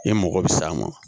E mago bɛ s'a ma